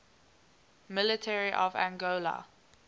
military of angola